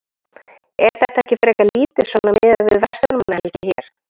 Er þetta ekki frekar lítið svona miðað við verslunarmannahelgi hér?